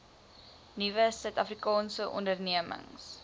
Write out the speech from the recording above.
nuwe suidafrikaanse ondernemings